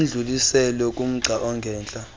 udluliselwe kumgca ongentla